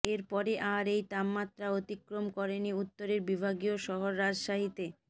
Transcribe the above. এর পরে আর এই তাপমাত্রা অতিক্রম করেনি উত্তরের বিভাগীয় শহর রাজশাহীতে